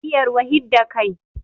Iya ruwa hidda kai